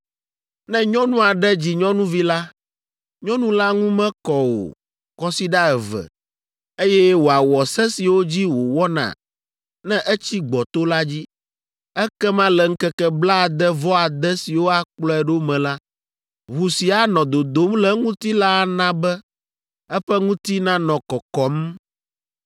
Ne nyɔnu aɖe dzi nyɔnuvi la, nyɔnu la ŋu mekɔ o kɔsiɖa eve, eye wòawɔ se siwo dzi wòwɔna ne etsi gbɔto la dzi. Ekema le ŋkeke blaade-vɔ-ade siwo akplɔe ɖo me la, ʋu si anɔ dodom le eŋuti la ana be eƒe ŋuti nanɔ kɔkɔm.